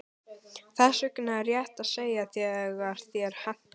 Þess vegna er rétt að segja þegar þér hentar.